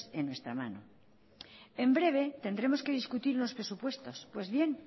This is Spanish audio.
en nuestra mano en breve tendremos que discutir los presupuestos pues bien